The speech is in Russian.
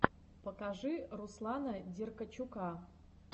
покажи руслана деркачука